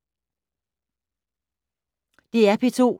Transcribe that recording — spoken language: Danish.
DR P2